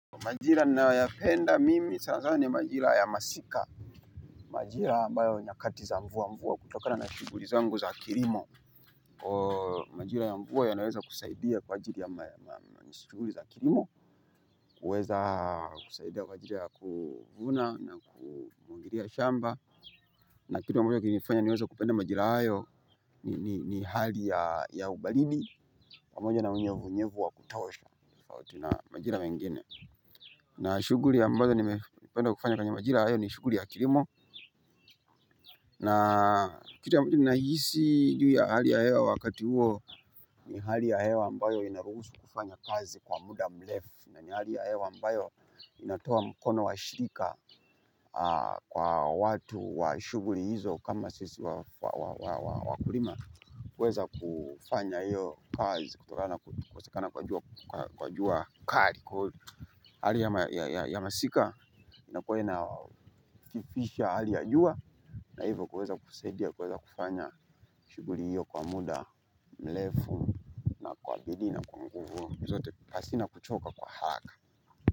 Majira ninayoyapenda mimi sanasana ni majira ya masika. Majira ambayo nyakati za mvua mvua kutokana na shughuli zangu za kilimo majira ya mvua yanaweza kusaidia kwa ajili ya mashughuli za kilimo. Kuweza kusaidia kwa ajili ya kuvuna na kumuagilia shamba na kitu ambacho kilinifanya niweze kupenda majira hayo ni ni hali ya ubaridi pamoja na unyevunyevu wa kutosha tofauti na majina mengine. Na shughuli ambazo nimependa kufanya kwenye majira hayo ni shughuli ya kilimo. Na kitu nahisi juu ya hali ya hewa wakati huo ni hali ya hewa ambayo inaruhusu kufanya kazi kwa muda mrefu. Na ni hali ya hewa ambayo inatoa mkono wa shirika kwa watu wa shughuli hizo kama sisi wakulima. Kuweza kufanya hio kazi kutokana na kukosekana kwa jua kali kwaivo hali ya masika, inakuwa inakifisha hali ya jua. Na hivyo kuweza kusaidia, kuweza kufanya shughuli hiyo kwa mda mrefu na kwa bidii na kwa nguvu zote hazina kuchoka kwa haraka.